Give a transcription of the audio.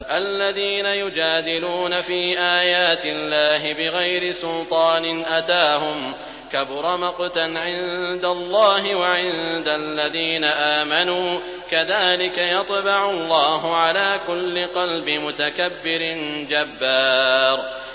الَّذِينَ يُجَادِلُونَ فِي آيَاتِ اللَّهِ بِغَيْرِ سُلْطَانٍ أَتَاهُمْ ۖ كَبُرَ مَقْتًا عِندَ اللَّهِ وَعِندَ الَّذِينَ آمَنُوا ۚ كَذَٰلِكَ يَطْبَعُ اللَّهُ عَلَىٰ كُلِّ قَلْبِ مُتَكَبِّرٍ جَبَّارٍ